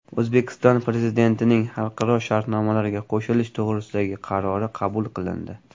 O‘zbekiston Prezidentining xalqaro shartnomalarga qo‘shilish to‘g‘risidagi qarori qabul qilindi.